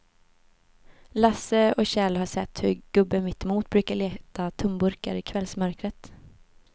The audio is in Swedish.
Lasse och Kjell har sett hur gubben mittemot brukar leta tomburkar i kvällsmörkret.